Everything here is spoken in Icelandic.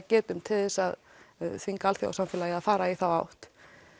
geta til að þvinga alþjóðasamfélagið í að fara í þá átt